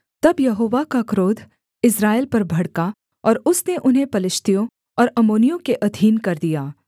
तब यहोवा का क्रोध इस्राएल पर भड़का और उसने उन्हें पलिश्तियों और अम्मोनियों के अधीन कर दिया